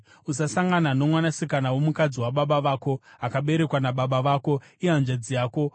“ ‘Usasangana nomwanasikana womukadzi wababa vako akaberekwa nababa vako, ihanzvadzi yako.